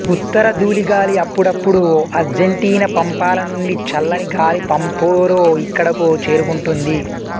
ఉత్తర ధూళి గాలి అప్పుడప్పుడు అర్జెంటీనా పంపాల నుండి చల్లని గాలి పాంపెరో ఇక్కడకు చేరుకుంటుంది